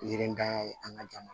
Yirinitanya ye an ka jamana